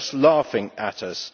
They are just laughing at us.